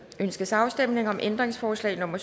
ønskes afstemning om ændringsforslag nummer